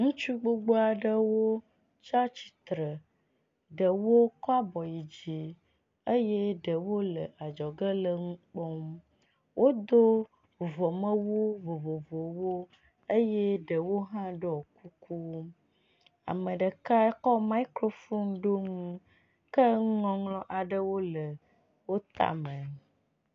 Ŋutsu gbogbo aɖewo tsi atsitre. Ɖewo kɔ abɔ yi dzi eye ɖewo le adzɔge le nu kpɔm. Wodo vuvɔmewu vovovowo eye ɖewo hã ɖɔ kuku. Ame ɖeka kɔ mikrofuni ɖo nu ke nuŋɔŋlɔ aɖewo le wo tame.